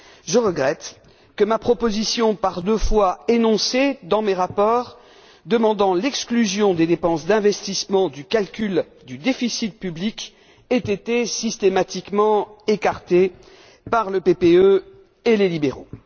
je regrette que ma proposition, par deux fois énoncée dans mes rapports, demandant l'exclusion des dépenses d'investissement du calcul du déficit public, ait été systématiquement écartée par le PPE et les libéraux.